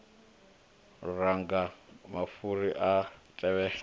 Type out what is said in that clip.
luranga mafhuri a a tevhela